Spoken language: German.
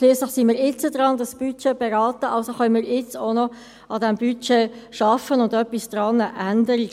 Schliesslich sind wir jetzt dabei, dieses Budget zu beraten, also können wir auch jetzt noch an diesem Budget arbeiten und etwas daran ändern.